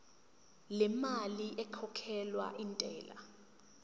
lemali ekhokhelwa intela